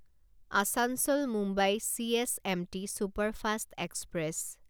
আছাঞ্চল Mumbai CSMT superfast express